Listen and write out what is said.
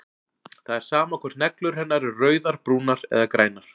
Það er sama hvort neglur hennar eru rauðar, brúnar eða grænar.